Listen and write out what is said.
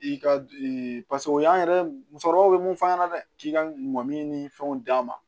I ka paseke o y'an yɛrɛ musokɔrɔbaw bɛ mun f'an ɲɛna dɛ k'i ka mɔmini ni fɛnw d'an ma